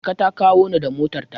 Marka ta kawo ni da motarta.